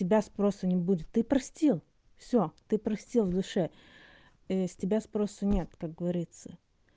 с тебя спроса не будет ты простил всё ты простил в душе с тебя спросу нет как говорится